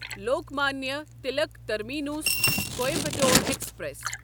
Lokmanya Tilak terminus Coimbatore express